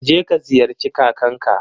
Je ka ziyarci kakanka.